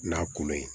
N'a kolon ye